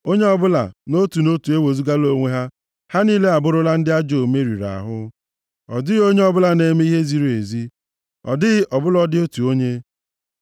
Onye ọbụla, nʼotu nʼotu ewezugala onwe ha, ha niile abụrụla ndị ajọ omume riri ahụ; ọ dịghị onye ọbụla na-eme ihe ziri ezi, ọ dịghị ọ bụladị otu onye.